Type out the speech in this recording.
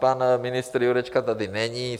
Pan ministr Jurečka tady není.